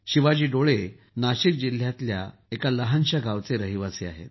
शिवाजी डोले नाशिक जिल्हयातील एका लहान गावचे रहिवासी आहेत